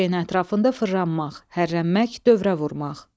Bir şeyin ətrafında fırlanmaq, hərrənmək, dövrə vurmaq.